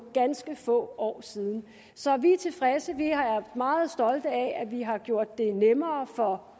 ganske få år siden så vi er tilfredse vi er meget stolte af at vi har gjort det nemmere for